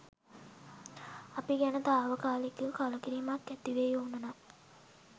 අපි ගැන තාවකාලික කලකිරීමක් ඇතිවෙයි ඕන නම්